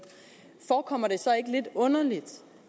forekommer det så ikke lidt underligt